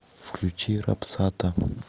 включи рапсата